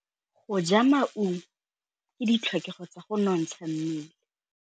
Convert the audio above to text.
Go ja maungo ke ditlhokegô tsa go nontsha mmele.